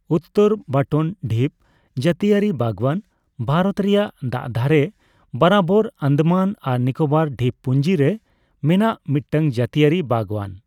ᱩᱛᱛᱚᱨ ᱵᱟᱴᱚᱱ ᱰᱷᱤᱯ ᱡᱟᱹᱛᱤᱭᱟᱹᱨᱤ ᱵᱟᱜᱽᱣᱟᱱ ᱵᱷᱟᱨᱚᱛ ᱨᱮᱭᱟᱜ ᱫᱟᱜ ᱫᱷᱟᱨᱮ ᱵᱟᱨᱟᱵᱳᱨ ᱟᱱᱫᱟᱢᱟᱱ ᱟᱨ ᱱᱤᱠᱳᱵᱚᱨ ᱰᱷᱤᱯ ᱯᱩᱧᱡᱤ ᱨᱮ ᱢᱮᱱᱟᱜ ᱢᱤᱫᱴᱟᱝ ᱡᱟᱹᱛᱤᱭᱟᱹᱨᱤ ᱵᱟᱜᱽᱣᱟᱱ ᱾